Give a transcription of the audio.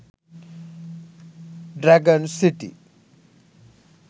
dragon city